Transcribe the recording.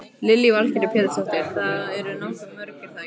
Lillý Valgerður Pétursdóttir: Þið eruð nokkuð mörg er það ekki?